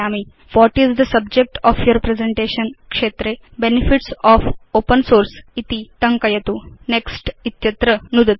what is the subject of your presentation क्षेत्रे benefits of open source इति टङ्कयतु Next इत्यत्र नुदतु